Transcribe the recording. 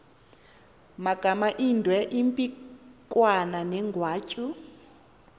magamaindwe impikwana negwatyu